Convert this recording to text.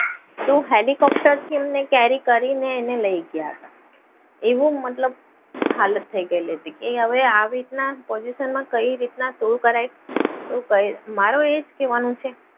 તો હેલિકોપ્ટરથી એમને carry કરીને લઈ ગયા હતા. એવું મતલબ હાલત થઈ ગયેલી હતી. એ હવે આવી રીતના position માં કઈ રીતના શું કરાય? તો કઈ મારો એ જ કહેવાનું છે.